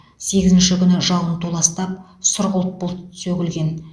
сегізінші күні жауын толастап сұрғылт бұлт сөгілген